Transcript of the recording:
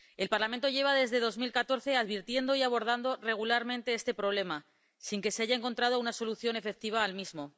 El Parlamento lleva desde 2014 advirtiendo y abordando regularmente este problema sin que se haya encontrado una solución efectiva al mismo.